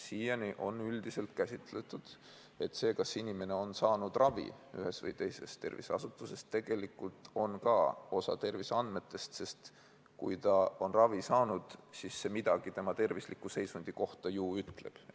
Siiani on üldiselt käsitletud ka seda teavet, kas inimene on saanud ravi ühes või teises terviseasutuses, tegelikult osana terviseandmetest, sest kui inimene on saanud ravi, siis midagi see tema tervisliku seisundi kohta ju ütleb.